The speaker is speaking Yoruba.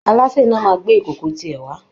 Alásè náà máa gbé ìkòkò tiẹ̀ wá